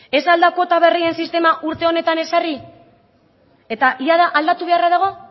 ez al da kuota berrien sistema urte honetan ezarri eta jada aldatu beharra dago